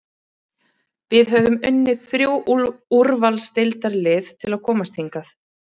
Við höfum unnið þrjú úrvalsdeildarlið til að komast hingað.